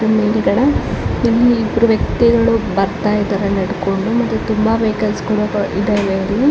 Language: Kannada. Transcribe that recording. ಇಲ್ಲಿ ಮುಂದುಗಡೆ ಇಲ್ಲಿ ಇಬ್ರು ವ್ಯಕ್ತಿಗಳು ಬರ್ತಾ ಇದ್ದಾರೆ ನಡ್ಕೊಂಡು ಮತ್ತೆ ತುಂಬ ವೆಹಿಕಲ್ಸ್ಗಳು ಇದಾವೆ ಅಲ್ಲಿ --